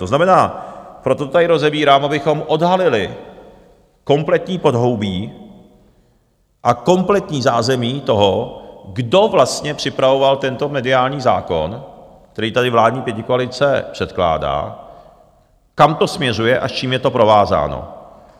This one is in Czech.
To znamená, proto to tady rozebírám, abychom odhalili kompletní podhoubí a kompletní zázemí toho, kdo vlastně připravoval tento mediální zákon, který tady vládní pětikoalice předkládá, kam to směřuje a s čím je to provázáno.